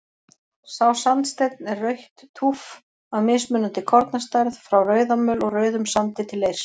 Sá sandsteinn er rautt túff af mismunandi kornastærð, frá rauðamöl og rauðum sandi til leirs.